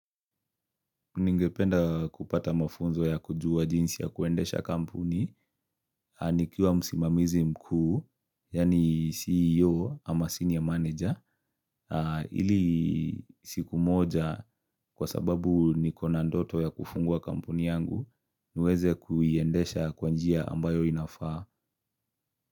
Ningependa kupata mafunzo ya kujua jinsi ya kuendesha kampuni nikiwa msimamizi mkuu, yani CEO ama senior manager ili siku moja kwa sababu nikona ndoto ya kufungua kampuni yangu niweze kuiendesha kwanjia ambayo inafaa.